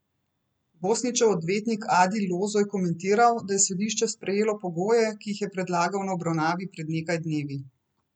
Bosnićev odvetnik Adil Lozo je komentiral, da je sodišče sprejelo pogoje, ki jih je predlagal na obravnavi pred nekaj dnevi.